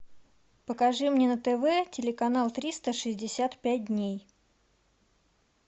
покажи мне на тв телеканал триста шестьдесят пять дней